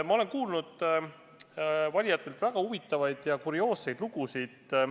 Ma olen kuulnud valijatelt väga huvitavaid ja kurioosseid lugusid.